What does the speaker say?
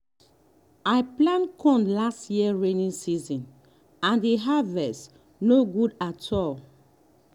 i plant corn late last rainy season and the harvest no good at all.